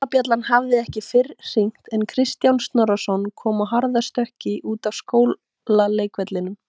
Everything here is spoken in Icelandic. Skólabjallan hafði ekki fyrr hringt en Kristján Snorrason kom á harðastökki út af skólaleikvellinum.